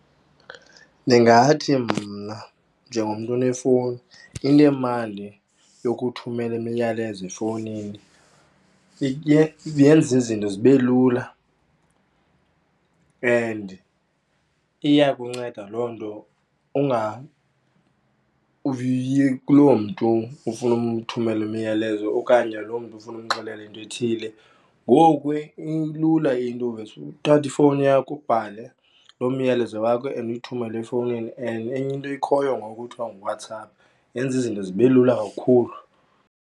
Ndingathi mna njengomntu onefowuni inemali yokuthumela imiyalezo efowunini, yenza izinto zibe lula and iyakunceda loo nto ungayi kuloo mntu ufuna umthumelela imiyalezo okanye loo mntu ufuna umxelela into ethile. Ngoku ilula into uvese uthathe ifowuni yakho, ubhale loo myalezo wakho and uyithumele efowunini and enye into ikhoyo ngoku kuthiwa nguWhatsApp yenza izinto zibe lula kakhulu.